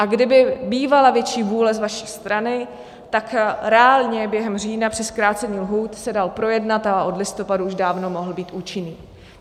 A kdyby bývala větší vůle z vaší strany, tak reálně během října při zkrácení lhůt se dal projednat a od listopadu už dávno mohl být účinný.